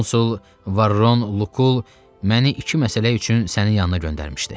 Konsul Varron Lukul məni iki məsələ üçün sənin yanına göndərmişdi.